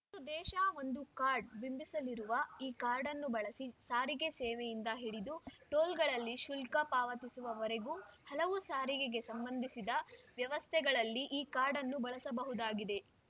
ಒಂದು ದೇಶ ಒಂದು ಕಾರ್ಡ್ ಬಿಂಬಿಸಲಾಗಿರುವ ಈ ಕಾರ್ಡ್‌ನ್ನು ಬಳಸಿ ಸಾರಿಗೆ ಸೇವೆಯಿಂದ ಹಿಡಿದು ಟೋಲ್‌ಗಳಲ್ಲಿ ಶುಲ್ಕ ಪಾವತಿಸುವವರೆಗೂ ಹಲವು ಸಾರಿಗೆಗೆ ಸಂಬಂಧಿಸಿದ ವ್ಯವಸ್ಥೆಗಳಲ್ಲಿ ಈ ಕಾರ್ಡನ್ನು ಬಳಸಬಹುದಾಗಿದೆ